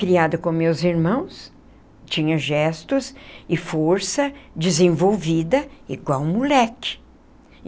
Criada com meus irmãos, tinha gestos e força desenvolvida igual moleque.